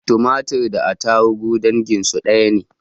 Tumatir da attaruhu danginsu ɗaya ne